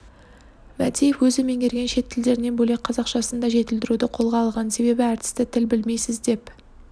мәдиев өзі меңгерген шет тілдерінен бөлек қазақшасын да жетілдіруді қолға алған себебі әртісті тіл білмейсіз деп